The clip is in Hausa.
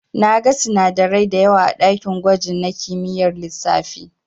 Na gan sinadarai dayawa a dakin gwaji na kimiyyar lissafi.